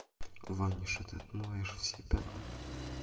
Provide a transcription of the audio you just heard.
ваниш и ты отмоешь все пятна